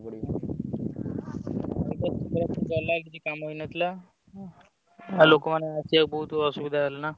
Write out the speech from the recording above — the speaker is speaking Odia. କିଛି କାମ ହେଇନଥିଲା ଲୋକମାନଙ୍କୁ ଆସିବାକୁ ବହୁତ୍ ଅସୁବିଧା ହେଲା ନା।